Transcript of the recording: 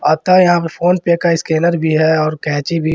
आपका यहां PhonePe का स्कैनर भी है और कैंची भी।